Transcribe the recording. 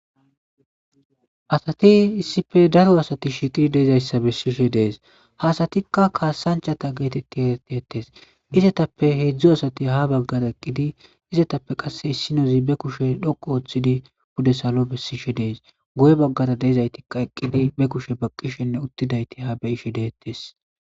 Asathi issipe daro asathi shiiqi dizayssa bessishe de7es; ha asathika kasanchchatha geetheththi ereththethes; izethappe heedzdzu asathi ha baggara eqqidi izethappe qassi issinozi be kushe dhoqqu ooththidi pude salo bessishe de7es; guye baggera de7izaythika eqqidi be kushe baqqishenne uththidaythi haa be7ishe de7ethes.